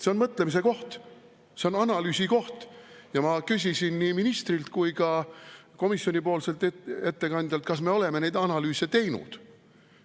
See on mõtlemise koht, see on analüüsikoht ja ma küsisin nii ministrilt kui ka komisjoni ettekandjalt, kas me oleme neid analüüse teinud.